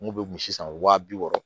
N kun bɛ misi san wa bi wɔɔrɔ